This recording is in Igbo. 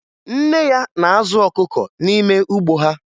Nne ya na-azụ ọkụkọ n'ime ugbo ha